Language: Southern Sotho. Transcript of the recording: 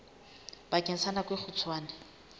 bakeng sa nako e kgutshwane